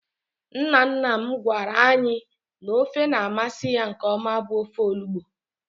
Nna nna m gwara anyị n'ofe na-amasị ya nkeọma bụ ofe olugbo.